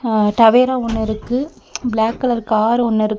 அ Tavera ஒன்னு இருக்கு black colour car ஒன்னு இரு--